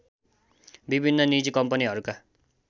विभिन्न निजी कम्पनीहरूका